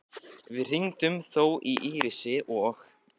Við hringdum þó í Írisi og